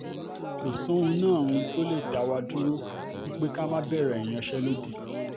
kò sóhun náà um tó lè dá wa dúró rárá um pé ká má bẹ̀rẹ̀ ìyanṣẹ́lódì